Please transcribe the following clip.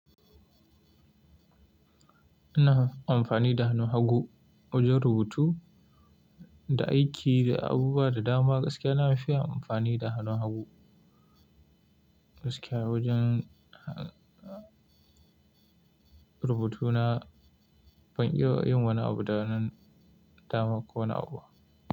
Ina amfani da hannun hagu wajen rubutu da aiki da abubuwa da dama. Gaskiya na nafi amfani da hannun hagu. Gaskiya wajen rubutu na ban iya yin wani abu da hannun dama ko wani abu.